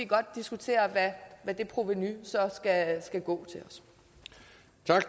godt diskutere hvad det provenu så skal gå